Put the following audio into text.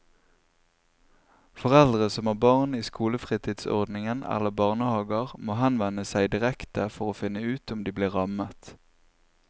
Foreldre som har barn i skolefritidsordning eller barnehaver må henvende seg direkte for å finne ut om de blir rammet.